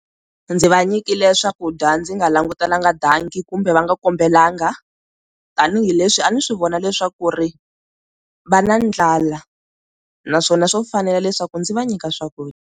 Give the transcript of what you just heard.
Ndzi va nyikile swakudya ndzi nga langutelanga danki kumbe va nga kombelanga tanihileswi a ni swi vona leswaku ri va na ndlala naswona swo fanela leswaku ndzi va nyika swakudya.